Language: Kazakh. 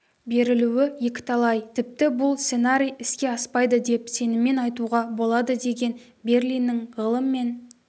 берілуі екіталай тіпті бұл сценарий іске аспайды деп сеніммен айтуға болады деген берлиннің ғылым мен